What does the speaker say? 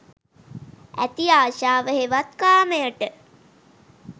ඇති අශාව හෙවත් කාමයට